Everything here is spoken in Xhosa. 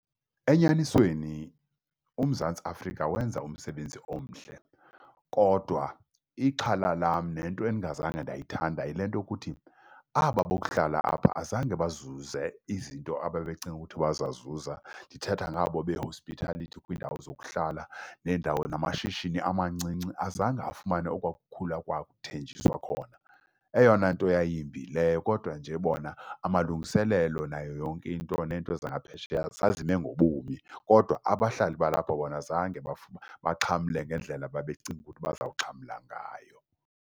Enyanisweni uMzantsi Afrika wenza umsebenzi omhle, kodwa ixhala lam nento endingazange ndayithanda yile nto yokuthi aba bokuhlala apha azange bazuze izinto ababecinga ukuthi baza zizuza ndithetha ngabo behospithelithi, kwiindawo zokuhlala neendawo, namashishini amancinci azange afumane okwa kukhula kwakuthenjiswa khona. Eyona nto yayimbi yileyo. Kodwa nje bona amalungiselelo nayo yonke nto nento zaphesheya zazime ngobumi, kodwa abahlali balapha bona zange baxhamle ngendlela babecinga ukuthi bazawuxhamla ngayo.